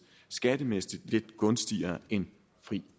skattemæssigt lidt gunstigere end fri